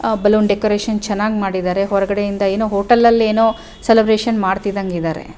ಆಹ್ಹ್ balloon decoration ಚೆನ್ನಾಗ್ ಮಾಡಿದ್ದಾರೆ ಹೊರಗಡೆ ಇಂದ ಏನೋ ಹೋಟೆಲ್ ಅಲ್ಲೆನೊ ಸೆಲೆಬ್ರೇಶನ್ ಮಾಡ್ತಿದ್ದಂಗಿದ್ದಾರೆ.